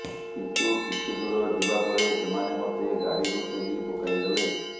କିନ୍ତୁ କିଛି ଦୂର ଯିବା ପରେ ସେମାନେ ମତେ ଗାଡ଼ିରୁ ଠେଲି ପକାଇ ଦେଲେ